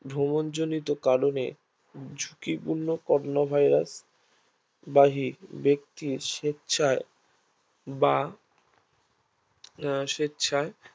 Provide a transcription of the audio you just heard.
ভ্রমণ জনিত কারণে ঝুঁকিপূর্ণ করোনা Virus বাহিক ব্যাক্তি স্বেচ্ছায় বা আহ স্বেচ্ছায়